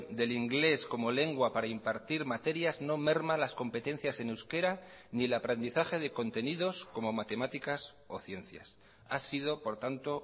del inglés como lengua para impartir materias no merma las competencias en euskera ni el aprendizaje de contenidos como matemáticas o ciencias ha sido por tanto